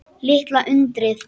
Litla undrið.